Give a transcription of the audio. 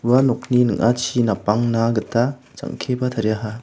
ua nokni ning·achi napangna gita jang·keba tariaha.